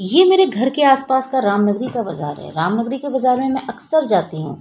ये मेरे घर के आस-पास का रामनगरी का बाजार है रामनगरी के बाजार में मैं अक्सर जाती हूँ।